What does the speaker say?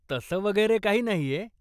तसं वगैरे काही नाहीय.